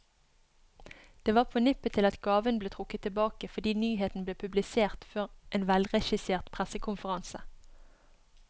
Det var på nippet til at gaven ble trukket tilbake, fordi nyheten ble publisert før en velregissert pressekonferanse.